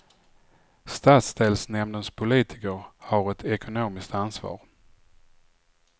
Stadsdelsnämndens politiker har ett ekonomiskt ansvar.